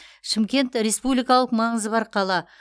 шымкент республикалық маңызы бар қала